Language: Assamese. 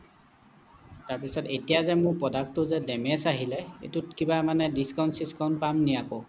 তাৰ পিছত এতিয়া যে মোৰ product টো যে damage আহিলে এইটোত কিবা মানে discount চিস্কৌন্ত পাম নেকি আকৌ